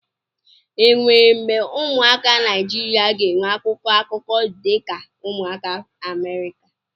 Enwere mgbe ụmụaka Naijiria ga-enwe akwụkwọ akụkọ dị ka ụmụaka Amerịka.